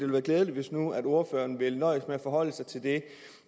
være klædeligt hvis nu ordføreren ville nøjes med at forholde sig til det